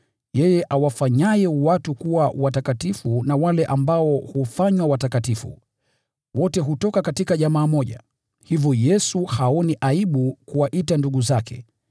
Yeye awafanyaye watu kuwa watakatifu, pamoja na hao ambao hufanywa watakatifu, wote hutoka katika jamaa moja. Hivyo Yesu haoni aibu kuwaita ndugu zake.